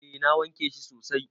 Eh na wanke shi sosai.